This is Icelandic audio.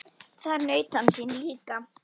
Þar naut hann sín líka.